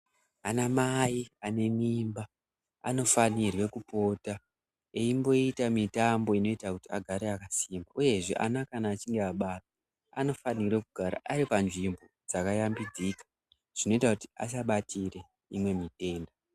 Anamai ane mimba anofanirwe kupota eimboita mitambo inoita kuti agare akasimba uyezve ana kana achinge abarwa anofanirwe kugara ari panzvimbo dzakashambidzika zvinoita kuti asabatire imwe mitenda.